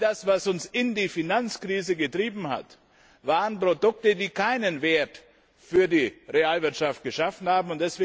All das, was uns in die Finanzkrise getrieben hat, waren Produkte, die keinen Wert für die Realwirtschaft geschaffen haben.